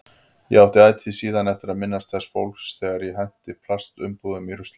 Ég átti ætíð síðan eftir að minnast þessa fólks þegar ég henti plastumbúðum í ruslið.